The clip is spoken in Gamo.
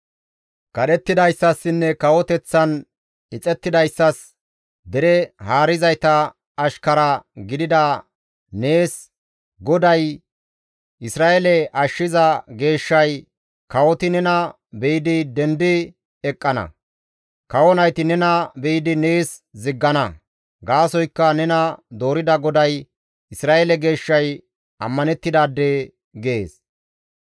Kadhettidayssassinne kawoteththan ixettidayssas, dere haarizayta ashkara gidida nees, GODAY, Isra7eele ashshiza Geeshshay, «Kawoti nena be7idi dendi eqqana; kawo nayti nena be7idi nees ziggana; gaasoykka nena doorida GODAY, Isra7eele Geeshshay ammanettidaade» gees.